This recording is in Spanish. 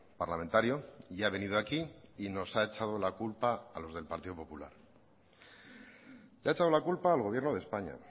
parlamentario y ha venido aquí y nos ha echado la culpa a los del partido popular le ha echado la culpa al gobierno de españa